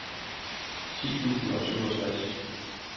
ti tusind og syvogtres